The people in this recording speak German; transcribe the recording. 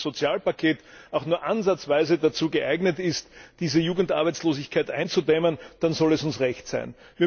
Und wenn dieses Sozialpaket auch nur ansatzweise dazu geeignet ist, diese Jugendarbeitslosigkeit einzudämmen, dann soll es uns recht sein.